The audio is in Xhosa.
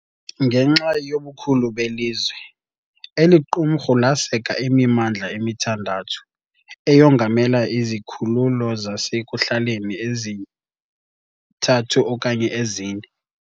Ngenxa yobukhulu belizwe, eli qumrhu laseka imimandla emithandathu, eyongamele izikhululo zasekuhlaleni ezithathu okanye ezine.